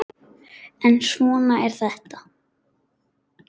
En svona er þetta.